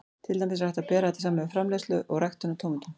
Til dæmis er hægt að bera þetta saman við framleiðslu og ræktun á tómötum.